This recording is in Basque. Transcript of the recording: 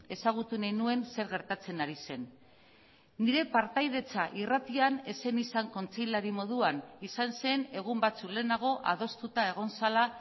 ezagutu nahi nuen zer gertatzen ari zen nire partaidetza irratian ez zen izan kontseilari moduan izan zen egun batzuk lehenago adostuta egon zela